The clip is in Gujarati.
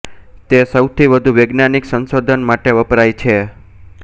તે સૌથી વધુ વૈજ્ઞાનિક સંશોધન માટે વપરાય છે